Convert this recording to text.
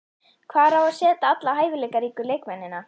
Hvar á að setja alla hæfileikaríku leikmennina?